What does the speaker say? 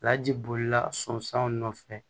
Laji bolila sɔn sanw nɔfɛ